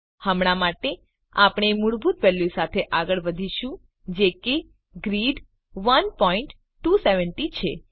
હમણાં માટે આપણે મૂળભૂત વેલ્યુ સાથે આગળ વધીશું જે કે ગ્રિડ 1270 છે